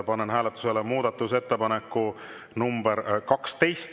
Panen hääletusele muudatusettepaneku nr 12.